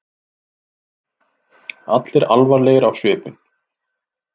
Allir alvarlegir á svipinn.